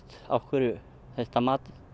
á hverju það